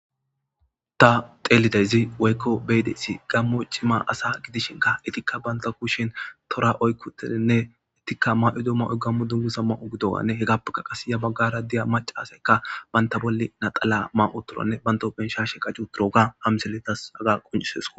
Ta xeelidayzi woykko beydesi gammo cima asa gidishinka itikka banta kushin tora oykkutedinne ittikka ma7idoma oy gammu dummu sa ma7u gidowanne hegappeka qas ya baggara diya maca asaykka banta bolli naxala ma7u toranne banto benshashe qajju turooga amseletas aga quncisesko.